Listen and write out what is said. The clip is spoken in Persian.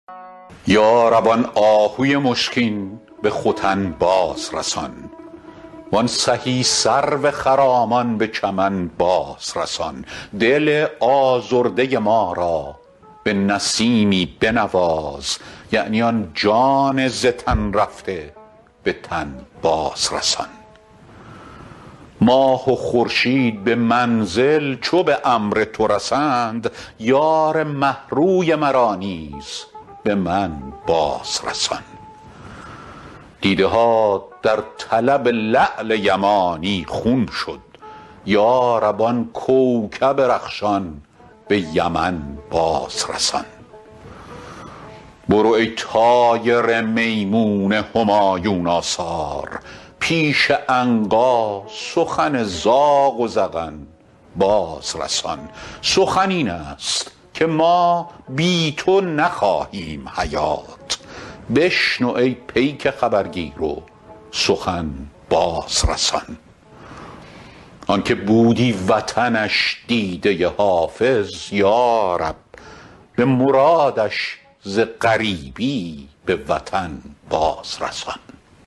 یا رب آن آهوی مشکین به ختن باز رسان وان سهی سرو خرامان به چمن باز رسان دل آزرده ما را به نسیمی بنواز یعنی آن جان ز تن رفته به تن باز رسان ماه و خورشید به منزل چو به امر تو رسند یار مه روی مرا نیز به من باز رسان دیده ها در طلب لعل یمانی خون شد یا رب آن کوکب رخشان به یمن باز رسان برو ای طایر میمون همایون آثار پیش عنقا سخن زاغ و زغن باز رسان سخن این است که ما بی تو نخواهیم حیات بشنو ای پیک خبرگیر و سخن باز رسان آن که بودی وطنش دیده حافظ یا رب به مرادش ز غریبی به وطن باز رسان